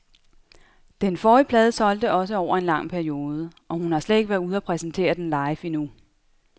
Den forrige plade solgte også over en lang periode, og hun har slet ikke været ude og præsentere den live endnu.